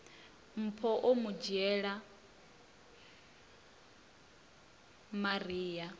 mpho o mu dzhiela maria